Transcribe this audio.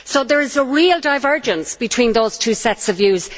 So there is a real divergence between those two sets of views.